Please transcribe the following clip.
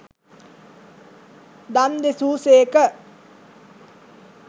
දම් දෙසූ සේක.